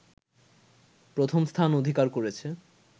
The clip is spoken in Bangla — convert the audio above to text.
প্রথমস্থান অধিকার করেছে